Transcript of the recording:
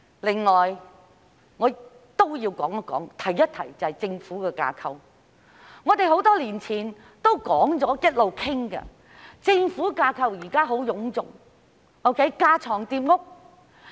此外，我也要提及政府的架構，我們多年以來一直有討論，指出現有的政府架構臃腫，架床疊屋。